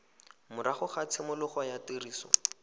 morago ga tshimologo ya tiriso